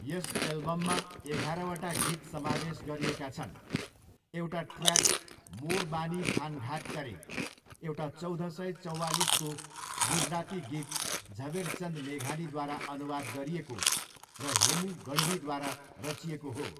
यस एल्बममा एघारवटा गीत समावेश गरिएका छन्, एउटा ट्रयाक 'मोर बानी थानघाट करे' एउटा चौध सय चौँवालिसको गुजराती गीत झवेरचन्द मेघानीद्वारा अनुवाद गरिएको र हेमु गढवीद्वारा रचिएको हो।